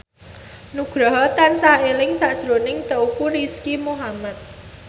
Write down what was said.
Nugroho tansah eling sakjroning Teuku Rizky Muhammad